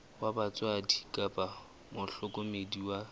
wa batswadi kapa mohlokomedi wa